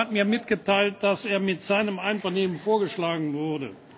Herr Paşcu hat mir mitgeteilt, dass er mit seinem Einvernehmen vorgeschlagen wurde.